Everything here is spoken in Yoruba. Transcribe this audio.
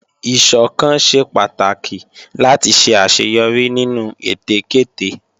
Ìsọ̀kan ṣe pàtàkì láti ṣe àṣeyọrí nínú ète kéte